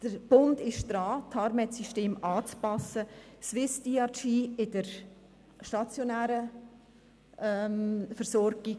Der Bund ist daran, das TARMEDSystem anzupassen, Swiss Diagnosis Related Groups (SwissDRG) für die stationäre Versorgung: